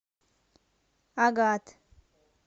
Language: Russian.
агат